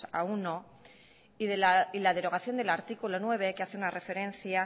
a uno y la derogación del artículo nueve que hace una referencia